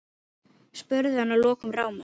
spurði hann að lokum rámur.